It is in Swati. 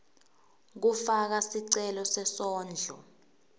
kufaka sicelo sesondlo